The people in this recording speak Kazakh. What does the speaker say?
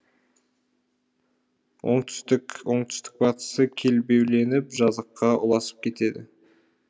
оңтүстік оңтүстік батысы көлбеуленіп жазыққа ұласып кетеді